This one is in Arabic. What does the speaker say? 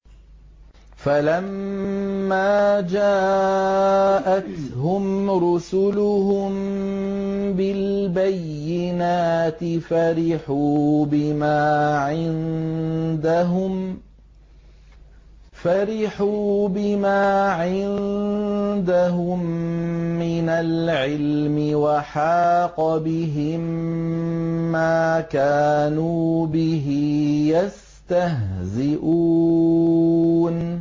فَلَمَّا جَاءَتْهُمْ رُسُلُهُم بِالْبَيِّنَاتِ فَرِحُوا بِمَا عِندَهُم مِّنَ الْعِلْمِ وَحَاقَ بِهِم مَّا كَانُوا بِهِ يَسْتَهْزِئُونَ